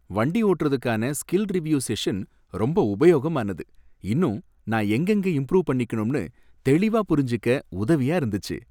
வண்டி ஓட்டறதுக்கான skill review session ரொம்ப உபயோகமானது, இன்னும் நான் எங்கெங்க இம்ப்ரூவ் பண்ணிக்கனும்னு தெளிவா புரிஞ்சிக்க உதவியா இருந்துச்சி.